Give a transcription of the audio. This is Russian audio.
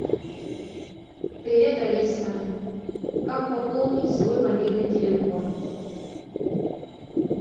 привет алиса как пополнить свой мобильный телефон